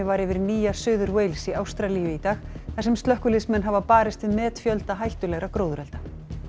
var yfir Nýja Suður Wales í Ástralíu í dag þar sem slökkviliðsmenn hafa barist við metfjölda hættulegra gróðurelda